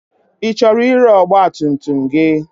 Ị chọrọ ire ọgba tum tum gị?